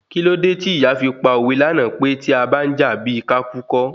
Kílódé tí ìyá fi pa òwe lánàá pé tí abá ń jà bíi ká kú kọ́?